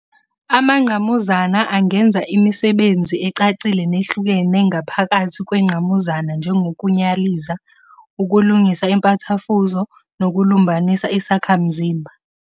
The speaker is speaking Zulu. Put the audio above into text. Amangqamuzana angenza imisebenzi ecacile nehlukene ngaphakathi kwengqamuzana njengokunyaliza, ukulungisa impathafuzo, nokulumbanisa isakhamzimba.